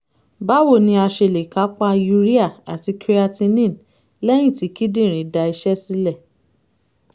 báwo ni a ṣe lè kápá urea àti creatinine lẹ́yìn tí kíndìnrín da iṣẹ́ sílẹ̀?